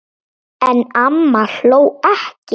En amma hló ekki.